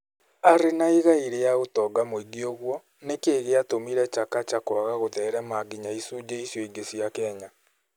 Arĩ na igai rĩa ũtonga mwingĩ ũguo, nĩ kĩĩ gĩatũmire Chakacha kũaga gũtherema nginya ĩcunjĩ icio cingĩ cia Kenya?